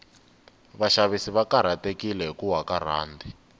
vashavisi vakarhatekile hhikuwa karand